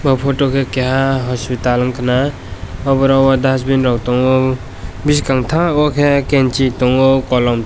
o photo ke keha hospital wngka na oborog o dusbin rog tongo biskang tag o ke kensi tongo kolom.